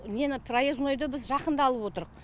нені проезднойды біз жақында алып отырқ